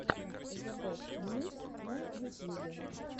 зебестньюс на ютьюбе